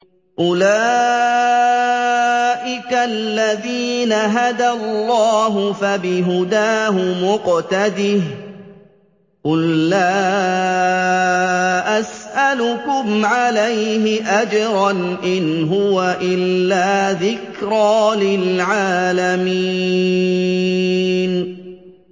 أُولَٰئِكَ الَّذِينَ هَدَى اللَّهُ ۖ فَبِهُدَاهُمُ اقْتَدِهْ ۗ قُل لَّا أَسْأَلُكُمْ عَلَيْهِ أَجْرًا ۖ إِنْ هُوَ إِلَّا ذِكْرَىٰ لِلْعَالَمِينَ